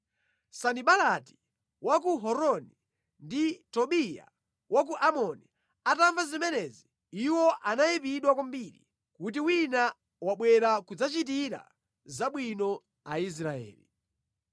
Sanibalati wa ku Horoni ndi Tobiya wa ku Amoni atamva zimenezi, iwo anayipidwa kwambiri kuti wina wabwera kudzachitira zabwino Aisraeli.